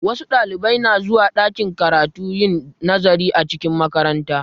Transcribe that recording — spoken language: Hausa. Wasu Ɗalibai na zuwa ɗakin karatu yin nazari a cikin makaranta